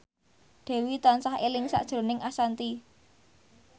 Dewi tansah eling sakjroning Ashanti